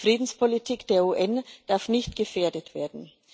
Die Friedenspolitik der UN darf nicht gefährdet werden.